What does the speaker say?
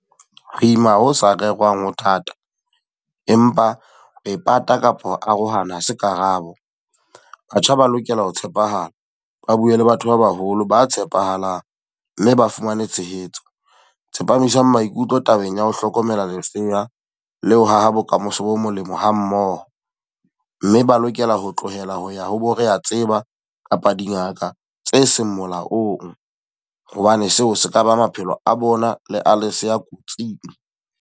Ho ima ho sa rerwang ho thata. Empa e pata kapa ho arohana ha se karabo. Batjha ba lokela ho tshepahala, ba bue le batho ba baholo ba tshepahalang mme ba fumane tshehetso. Tsepamisang maikutlo tabeng ya ho hlokomela lesea le ho haha bokamoso bo molemo ha mmoho. Mme ba lokela ho tlohela ho ya ho bo re a tseba kapa dingaka tse seng molaong. Hobane seo se ka ba maphelo a bona le a lesea kotsing.